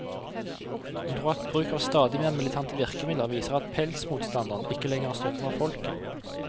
Hun tror at bruk av stadig mer militante virkemidler viser at pelsmotstanderne ikke lenger har støtte fra folket.